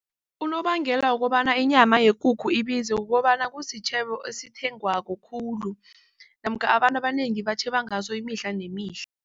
Unobangela wokobana inyama yekukhu ibizo kukobana kusitjhebo esithengwako khulu namkha abantu abanengi batjheba ngaso imihla nemihla.